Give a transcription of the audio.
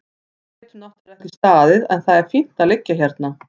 Við getum náttúrlega ekki staðið en það er fínt að liggja hérna.